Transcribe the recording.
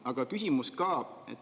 Aga küsimus ka.